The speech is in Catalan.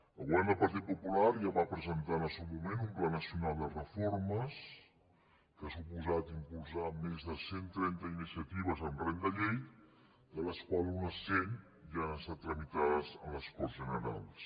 el govern del partit popular ja va presentar en el seu moment un pla nacional de reformes que ha suposat impulsar més de cent trenta iniciatives amb rang de llei de les quals unes cent ja han estat tramitades a les corts generals